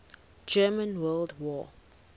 german world war